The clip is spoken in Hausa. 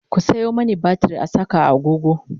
ku Sayo mani batir in Saka a agogo